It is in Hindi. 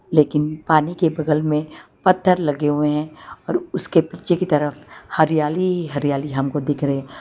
लेकिन पानी के बगल में पत्थर लगे हुए हैं और उसके पीछे की तरफ हरियाली ही हरियाली हमको दिख रहे।